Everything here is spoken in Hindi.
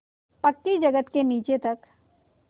पक्की जगत के नीचे तक